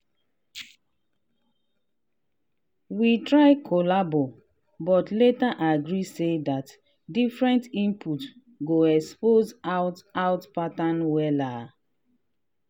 we try collabo but later agree say dat different inpute go expose out out pattern wella.